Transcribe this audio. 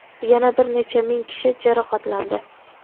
yana bir necha ming kishi jarohatlandi.